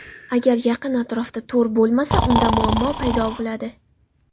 Agar yaqin atrofda to‘r bo‘lmasa, unda muammo paydo bo‘ladi.